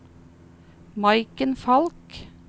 Maiken Falch